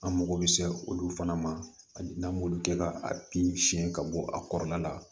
An mako bɛ se olu fana ma ani n'an m'olu kɛ ka bin siɲɛ ka bɔ a kɔrɔla la